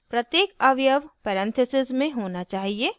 प्रत्येक अवयव परेन्थसीज़ में होना चाहिए